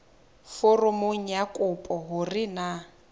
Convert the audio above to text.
foromong ya kopo hore na